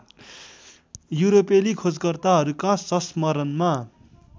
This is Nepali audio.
युरोपेली खोजकर्ताहरूका संस्मरणमा